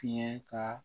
Tiɲɛ ka